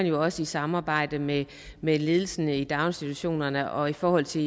jo også i samarbejde med med ledelsen i daginstitutionerne og i forhold til